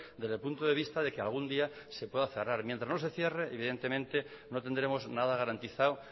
desde el punto de vista de que algún día se pueda cerrar mientras no se cierre evidentemente no tendremos nada garantizado